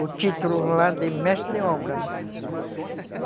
o título lá de mestre de obra, né? Uhum.